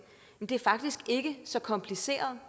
men det er faktisk ikke så kompliceret